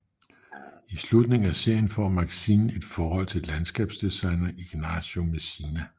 I slutningen af serien får Maxine et forhold til landskabsdesigneren Ignacio Messina